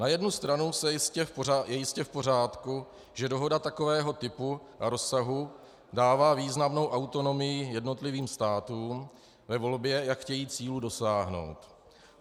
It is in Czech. Na jednu stranu je jistě v pořádku, že dohoda takového typu a rozsahu dává významnou autonomii jednotlivým státům ve volbě, jak chtějí cílů dosáhnout.